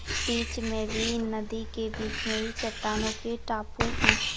बीच मे भी नदी के बीच मे भी चटानो के टापू है।